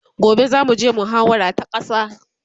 gobe zamu je muhawara ta ƙasa